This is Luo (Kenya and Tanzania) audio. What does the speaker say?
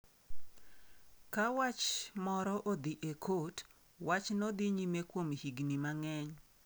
Ka wach moro odhi e kot, wachno dhi nyime kuom higni mang’eny.